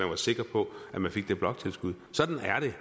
var sikker på at man fik det bloktilskud sådan er det